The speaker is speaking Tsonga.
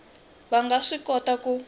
va nga swi kota ku